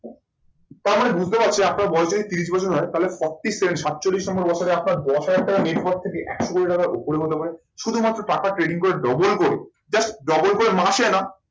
তার মানে বুঝতে পারছি, আপনার বয়স যদি তিরিশ বছর হয়, তাহলে সাতচল্লিশ নম্বর বছরে আপনার দশ হাজার টাকা এর পরে একশো কোটি টাকার ওপরে হতে পারে। শুধুমাত্র টাকা trading করে double করে, just double করে মাসে না